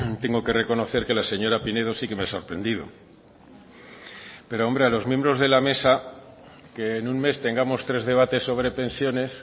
tengo que reconocer que la señora pinedo sí que me ha sorprendido pero a los miembros de la mesa que en un mes tengamos tres debates sobre pensiones